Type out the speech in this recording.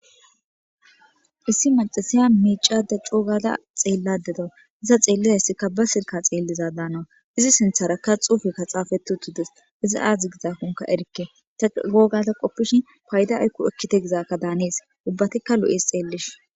Issi macasiya miicada coogata xeelladedo iza xeelliza hyssikka ba silka xeelliza daana izi sintharakka xuufekka xaafeti utudes iza aadzdzi gizakonka erikke ta googata qoppishin payda aykku ekkite gizaakka daanees ubbatikka lu'es xeellish.